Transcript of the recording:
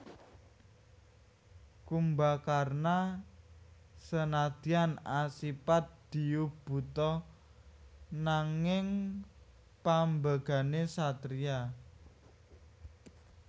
Kumbakarna senadyan asipat diyu buta nanging pambegané satriya